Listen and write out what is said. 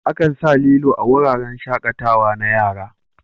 Akan sa lilo a wuraren shaƙatawa na yara.